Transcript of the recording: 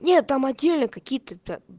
нет там отдельные какие-то то